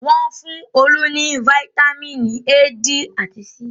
Wọ́n fún Olú ní fataímìn A, D àti C.